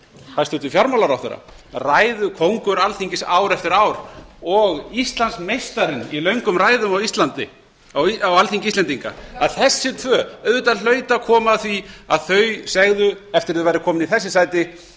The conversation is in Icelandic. hæstvirtur fjármálaráðherra ræðukóngur alþingis ár eftir ár og íslandsmeistarinn í löngum ræðum á alþingi íslendinga að þessi tvö auðvitað hlaut að koma að því að þau segðu eftir að þau væru komin í þessi sæti þingmenn